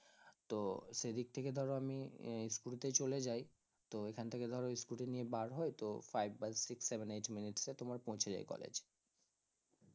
তো সেদিক থেকে ধরো আমি এই scooty তে চলে যাই তো এখান থেকে ধরো scooty নিয়ে বার হই তো five বা six seven eight minutes এ তোমার পৌঁছে যাই college